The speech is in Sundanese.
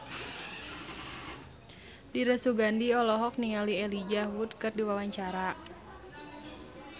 Dira Sugandi olohok ningali Elijah Wood keur diwawancara